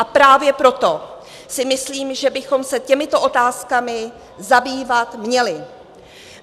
A právě proto si myslím, že bychom se těmito otázkami zabývat měli.